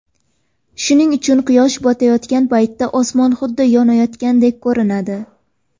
Shuning uchun quyosh botayotgan paytda osmon xuddi yonayotgandek ko‘rinadi.